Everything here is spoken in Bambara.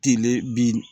Tele bin